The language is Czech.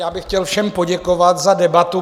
Já bych chtěl všem poděkovat za debatu.